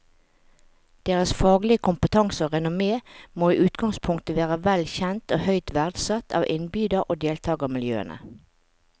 Deres faglige kompetanse og renommé må i utgangspunktet være vel kjent og høyt verdsatt av innbyder og deltagermiljøene.